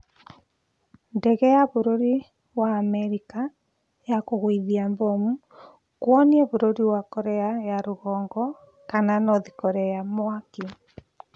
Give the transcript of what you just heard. Ndege ya bũrũri wa America ya kũgũithia mbomu kwonia bũrũri wa korea ya rũgongo kana North korea mwaki